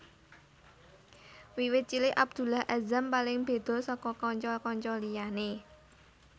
Wiwit cilik Abdullah Azzam paling beda saka kanca kanca liyane